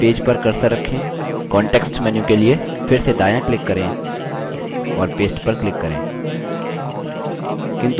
फिर पेज पर cursor रखें context menu के लिए फिर से दायाँ click करें और paste पर click करें